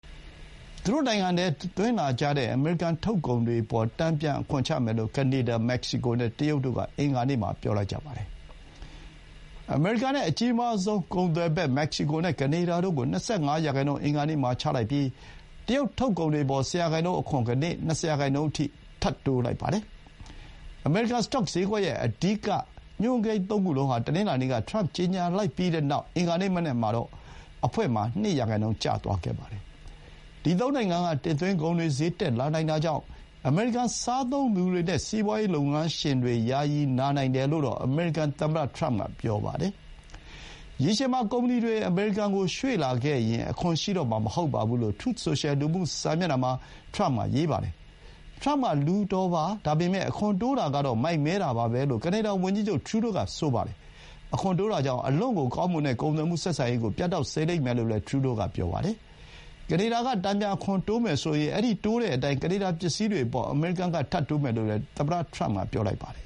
သူတို့နိုင်ငံထဲ သွင်းလာတဲ့ အမေရိကန် ထုတ်ကုန်တွေအပေါ် တန်ပြန် အခွန်ချမယ်လို့ ကနေဒါ၊ မက္ကဆီကိုနဲ့ တရုတ်တို့က အင်္ဂါနေ့မှာ ပြောလိုက်ကြပါတယ်။ အမေရိကန်နဲ့ အကြီးမားဆုံး ကုန်သွယ်ဘက် မက္ကဆီကိုနဲ့ ကနေဒါတို့ကို ၂၅% အင်္ဂါနေ့မှာ ချလိုက်ပြီး တရုတ်ထုတ်ကုန်တွေအပေါ် ၁၀% ကနေ ၂၀% အထိ ထပ်တိုးလိုက်ပါတယ်။ အမေရိကန် စတော့စျေးကွက်ရဲ့ အဓိကညွှန်းကိန်း သုံးခုလုံးဟာ တနင်္လာနေ့က ထရမ့် ကြေညာလိုက်ပြီးတဲ့နောက် အင်္ဂါနေ့မနက် စတော့အဖွင့်မှာ ၂% ကျသွားကြပါတယ်။ ဒီသုံးနိုင်ငံက တင်သွင်းကုန်တွေ စျေးတက်နိုင်တာကြောင့် အမေရိကန် စားသုံးသူတွေနဲ့ စီးပွါးရေး လုပ်ငန်းတွေ ယာယီ နာနိုင်တယ်လို့တော့ အမေရိကန်သမ္မတ ထရမ့်က ပြောပါတယ်။ ရေရှည်မှာ ကုမ္ပဏီတွေ အမေရိကန်ကို ရွှေ့လာခဲ့ရင် အခွန်ရှိတော့မှာ မဟုတ်ဘူးလို့ Truth Social လူမှု စာမျက်နှာမှာ ထရမ့်က ဆိုပါတယ်။ "ထရမ့်က လူတော်ပါ< ဒါပေမဲ့ အခွန်တိုးတာကတော့ မိုက်မဲတာပါပဲ" လို့ ကနေဒါဝန်ကြီးချုပ် ထရူးဒိုးက ပြောပါတယ်။ အခွန်တိုးတာကြောင့် အလွန့်ကိုကောင်းမွန်တဲ့ ကုန်သွယ်မှုဆက်ဆံရေးကို ပြတ်တောက်စေလိမ့်မယ်လို့ ထရူးဒိုးက ဆိုပါတယ်။ အမေရိကန် ထုတ်ကုန်တွေအပေါ် ကနေဒါက တန်ပြန် အခွန်တိုးမယ်ဆိုရင် အဲဒီ တိုးတဲ့အတိုင်း ကနေဒါပစ္စည်းတွေအပေါ် အမေရိကန် က ထပ်တိုးမယ်လို့လည်း သမ္မတထရမ့်က ပြောပါတယ်